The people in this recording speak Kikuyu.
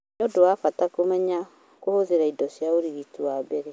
Nĩũndũ wa mbata kũmenya kũhũthĩta indo cia ũrigiti wa mbere